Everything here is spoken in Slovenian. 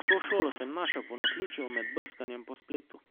To šolo sem našel po naključju med brskanjem po spletu.